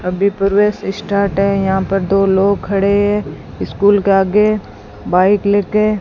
अभी प्रवेश स्टार्ट है यहां पर दो लोग खड़े स्कूल के आगे बाइक लेके --